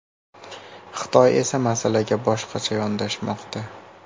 Xitoy esa masalaga boshqacha yondashmoqda.